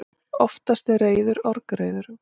Oftast er reiður orgreiður.